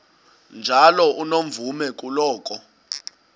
njalo unomvume kuloko